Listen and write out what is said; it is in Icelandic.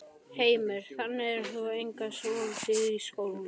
Heimir: Þannig að þú hefur einangrast svolítið í skólanum?